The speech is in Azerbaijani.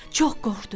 Çox qorxdu.